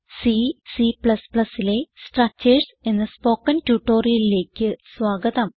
C C ലെ structures എന്ന spoken ട്യൂട്ടോറിയലിലേക്ക് സ്വാഗതം